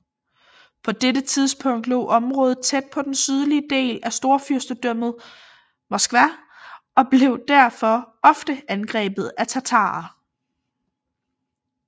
På dette tidspunkt lå området tæt på den sydligste del af Storfyrstendømmet Moskva og blev derfor ofte angrebet af tatarer